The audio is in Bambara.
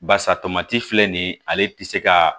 Basa tomati filɛ nin ale tɛ se ka